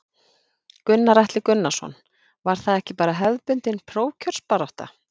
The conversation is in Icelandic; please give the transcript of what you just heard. Gunnar Atli Gunnarsson: Var það ekki bara hefðbundin prófkjörsbarátta?